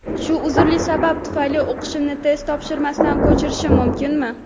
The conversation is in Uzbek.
Shu uzrli sabab tufayli o‘qishimni test topshirmasdan ko‘chirishim mumkinmi?.